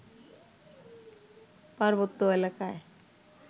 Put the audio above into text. পার্বত্য এলাকায়